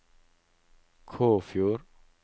Kåfjord